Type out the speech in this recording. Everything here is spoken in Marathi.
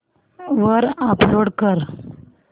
वर अपलोड कर